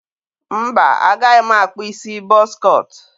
mba, agaghị m akpụ isi bọz cọt.